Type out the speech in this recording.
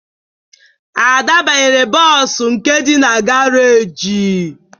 Ada banyere bọọsụ nke dị na garaajị